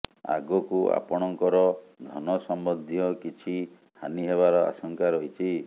ଆଗକୁ ଆପଣଙ୍କର ଧନ ସମ୍ବନ୍ଧୀୟ କିଛି ହାନୀ ହେବାର ଆଶଙ୍କା ରହିଛି